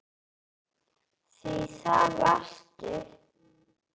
Því það varstu.